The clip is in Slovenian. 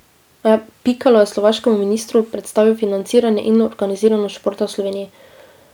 Pikalo je slovaškemu ministru predstavil financiranje in organiziranost športa v Sloveniji.